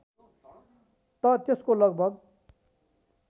त त्यसको लगभग